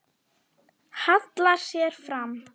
Hallar sér fram.